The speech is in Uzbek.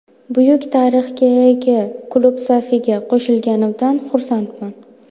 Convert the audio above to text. Buyuk tarixga ega klub safiga qo‘shilganimdan xursandman.